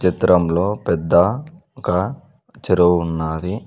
చిత్రంలో పెద్ద ఒక చెరువు ఉన్నాది.